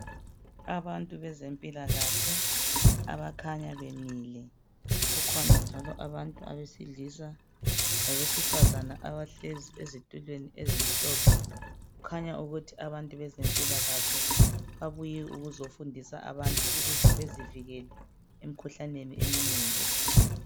Abantu bezempilakahle abakhanya bemile. Kukhona njalo abantu abesilisa labesifazana abahlezi ezitulweni ezimhlophe kukhanya ukuthi abantu bezempilakahle babuye ukuzofundisa abantu ukuze bezivikele emkhuhlaneni eminengi esigcwele.